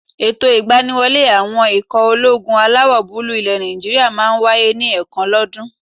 Ètò ìgbaniwọlé àwọn ikọ̀ ológun alawọ̀-búúlù ilẹ̀ Nàìjíríyà máà ń wáyé ní ẹ̀ẹ̀kan lọ́ dún.